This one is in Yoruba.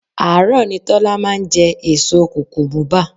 Àárọ̀ ni Tọ́lá máa ń jẹ èso kukumuba.